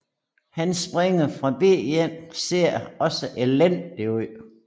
Hans springer på b1 ser også elendig ud